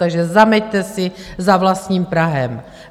Takže zameťte si za vlastním prahem.